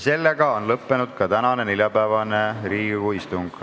Sellega on lõppenud ka tänane, neljapäevane Riigikogu istung.